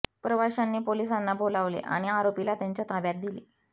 प्रवाशांनी पोलिसांना बोलावले आणि आरोपीला त्यांच्या ताब्यात दिले